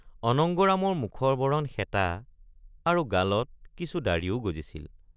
অনঙ্গৰামৰ মুখৰ বৰণ শেঁতা আৰু গালত কিছু ডাঢ়িও গজিছিল।